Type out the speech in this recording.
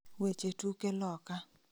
Weche tuke loka